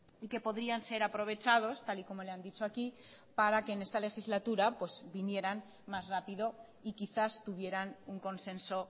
y que podrían ser aprovechados tal y como le han dicho aquí para que en esta legislatura vinieran más rápido y quizás tuvieran un consenso